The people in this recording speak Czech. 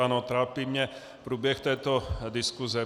Ano, trápí mě průběh této diskuse.